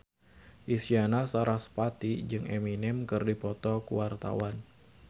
Isyana Sarasvati jeung Eminem keur dipoto ku wartawan